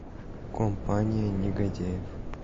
компания негодяев